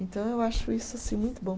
Então, eu acho isso assim muito bom.